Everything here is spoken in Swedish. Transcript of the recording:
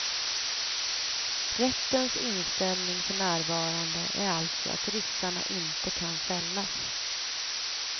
Rättens inställning för närvarande är alltså att ryssarna inte kan fällas.